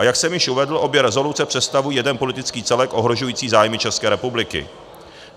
A jak jsem již uvedl, obě revoluce představují jeden politický celek ohrožující zájmy České republiky.